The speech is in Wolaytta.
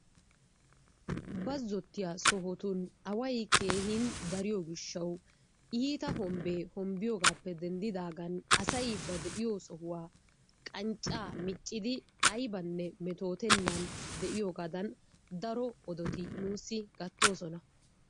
Bazzottiya sohotun away keehin dariyo gishshawu iitta hombbee hombbiyogaappe dendidaagan asay ba de'iyo sohuwan qanccaa miccidi aybanne metootennan de'iyoogaadan daro odoti nuussi gattoosona.